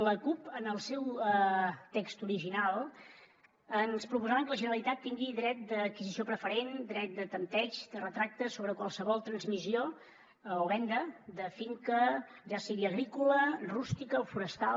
la cup en el seu text original ens proposaven que la generalitat tingui dret d’adquisició preferent dret de tanteig de retracte sobre qualsevol transmissió o venda de finca ja sigui agrícola rústica o forestal